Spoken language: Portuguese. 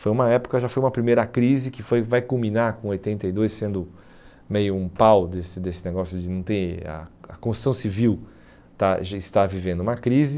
Foi uma época, já foi uma primeira crise que foi vai culminar com oitenta e dois, sendo meio um pau desse desse negócio de não ter... A a construção civil estar já estar vivendo uma crise.